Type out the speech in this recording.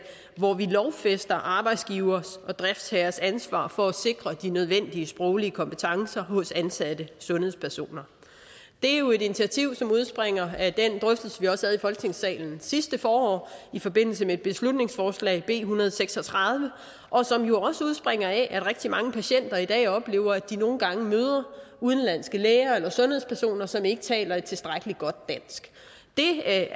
hvor vi lovfæster arbejdsgivers og driftsherres ansvar for at sikre de nødvendige sproglige kompetencer hos ansatte sundhedspersoner det er jo et initiativ som udspringer af den drøftelse vi også havde i folketingssalen sidste forår i forbindelse med et beslutningsforslag b en hundrede og seks og tredive og som jo også udspringer af at rigtig mange patienter i dag oplever at de nogle gange møder udenlandske læger eller sundhedspersoner som ikke taler et tilstrækkelig godt dansk det